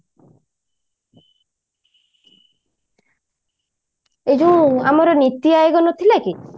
ଏ ଯୋଉ ଆମର ନୀତି ଆୟୋଗ ନଥିଲା କି